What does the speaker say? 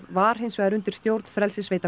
var hins vegar undir stjórn